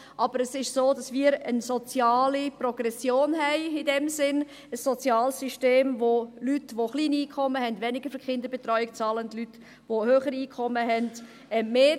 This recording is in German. aber es ist so, dass wir eine Art soziale Progression haben –ein soziales System, bei dem Leute, die kleine Einkommen haben, weniger für Kinderbetreuung bezahlen, und Leute, die höhere Einkommen haben, mehr.